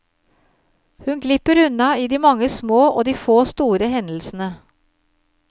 Hun glipper unna i de mange små og de få store hendelsene.